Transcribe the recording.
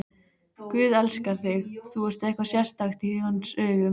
Guð elskar þig, þú ert eitthvað sérstakt í hans augum.